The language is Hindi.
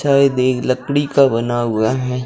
शायद ये लकड़ी का बना हुआ है।